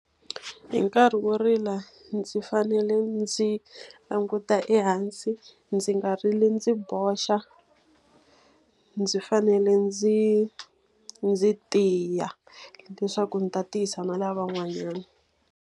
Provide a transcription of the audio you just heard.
Hi nkarhi wo rila ndzi fanele ndzi languta ehansi, ndzi nga rili ndzi boxa. Ndzi fanele ndzi ndzi tiya, leswaku ndzi ta tiyisa na lavan'wanyana.